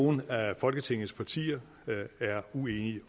nogen af folketingets partier er uenige